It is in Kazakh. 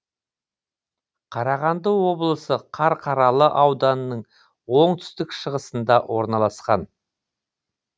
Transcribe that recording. қарағанды облысы қарқаралы ауданының оңтүстік шығысында орналасқан